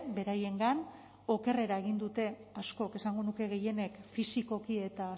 beraiengan okerrera egin dute askok esango nuke gehienek fisikoki eta